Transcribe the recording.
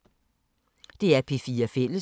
DR P4 Fælles